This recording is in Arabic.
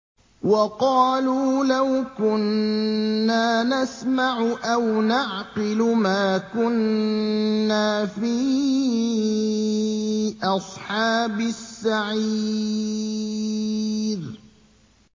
وَقَالُوا لَوْ كُنَّا نَسْمَعُ أَوْ نَعْقِلُ مَا كُنَّا فِي أَصْحَابِ السَّعِيرِ